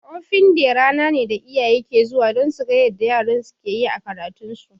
Open day rana ne da iyaye ke zuwa don suga yarda yaran su ke yi a karatun su